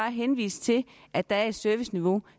henvise til at der er et serviceniveau